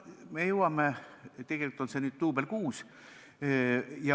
Me jõuame jälle sellesama teemani, tegelikult on see nüüd juba kuues duubel.